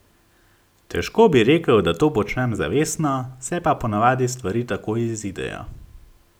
Težko bi rekel, da to počnem zavestno, se pa ponavadi stvari tako izidejo.